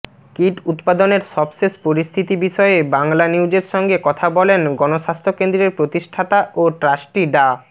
kit উৎপাদনের সবশেষ পরিস্থিতি বিষয়ে বাংলানিউজের সঙ্গে কথা বলেন গণস্বাস্থ্য কেন্দ্রের প্রতিষ্ঠাতা ও ট্রাস্টি ডা